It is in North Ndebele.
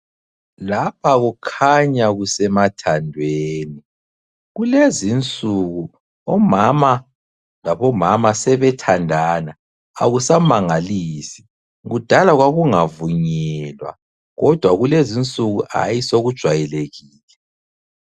Lapha kukhanya kusemathandweni, kulezinsuku omama labomama sebethandana, akusamangalisi. Kudala kwakungavunyelwa. Kodwa kulezinsuku hayi sokujwayelekile.